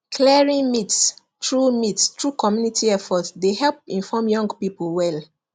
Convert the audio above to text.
clearing myths through myths through community effort dey help inform young people well